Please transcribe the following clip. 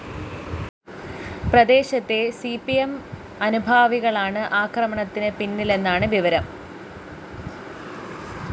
പ്രദേശത്തെ C P M അനുഭാവികളാണ് ആക്രമണത്ത് പിന്നിലെന്നാണ് വിവരം